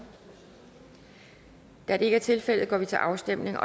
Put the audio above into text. da det ikke er tilfældet går vi til afstemning